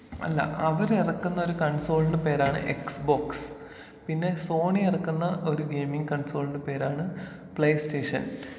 അല്ലാ.അവര് എറക്കുന്ന ഒരു കൺസോളിന്റെ പേരാണ് എക്സ് ബോക്സ് .പിന്നെ സോണി എറക്കുന്ന ഒരു ഗെയ്മിങ് കൺസോളിന്റെ പേരാണ് പ്ലേ സ്റ്റേഷൻ.